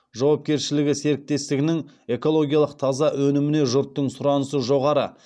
жауапкершілігі серіктестігінің экологиялық таза өніміне жұрттың сұранысы жоғары